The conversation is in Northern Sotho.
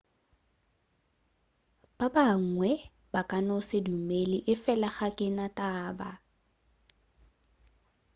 ba bangwe ba ka no se dumele efela ga ke na taba